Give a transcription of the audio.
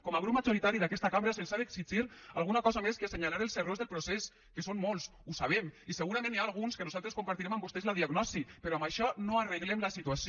com a grup majoritari d’aquesta cambra se’ls ha d’exigir alguna cosa més que assenyalar els errors del procés que són molts ho sabem i segurament n’hi ha alguns que nosaltres compartirem amb vostès la diagnosi però amb això no arreglem la situació